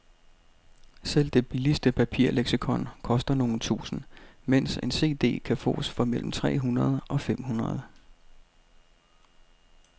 Selv det billigste papirleksikon koster nogle tusinde, mens en cd kan fås for mellem tre hundrede og fem hundrede.